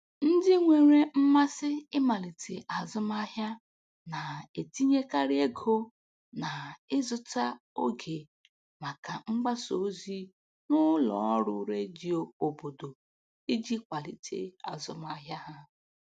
Ndị nwere mmasị ịmalite azụmahịa na-etinyekarị ego na-ịzụta oge maka mgbasa ozi n'ụlọ ọrụ redio obodo iji kwalite azụmahịa ha.